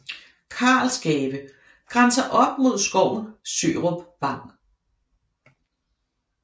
Karlsgave grænser op mod skoven Sørup Vang